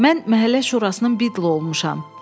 Mən Məhəllə Şurasının Bidlı olmuşam.